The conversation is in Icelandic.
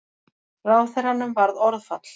Ráðherranum varð orðfall.